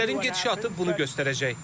Hadisələrin gedişatı bunu göstərəcək.